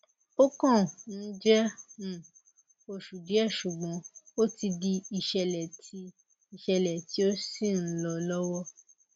ó kàn um jẹ um oṣù díẹ ṣùgbọn ó ti di ìṣẹlẹ tí ìṣẹlẹ tí ó sì ń lọ lọwọ